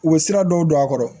U bɛ sira dɔw don a kɔrɔ